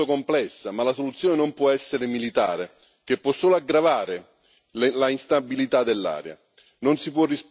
La questione è molto complessa ma la soluzione non può essere militare, che può solo aggravare l'instabilità dell'area.